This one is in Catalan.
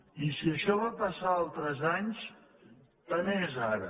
i si això va passar altres anys tant és ara